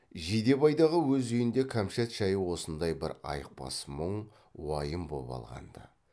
жидебайдағы өз үйінде кәмшат жайы осындай бір айықпас мұң уайым боп алған ды